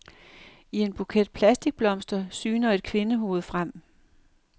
I en buket plastikblomster syner et kvindehoved frem.